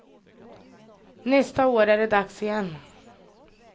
Nästa år är det dags igen.